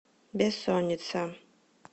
бессонница